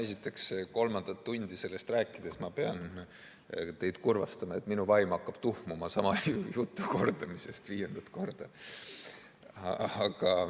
Esiteks, kolmandat tundi sellest rääkides ma pean teid kurvastama, et minu vaim hakkab tuhmuma sama jutu kordamisest viiendat korda.